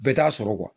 Bɛɛ t'a sɔrɔ